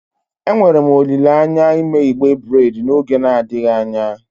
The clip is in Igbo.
Enwere m olile anya ime igbe breid n'oge adịghị anya.